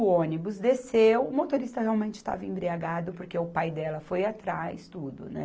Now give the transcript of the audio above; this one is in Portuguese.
O ônibus desceu, o motorista realmente estava embriagado, porque o pai dela foi atrás, tudo, né?